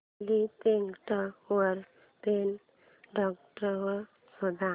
Flipkart वर pen drive शोधा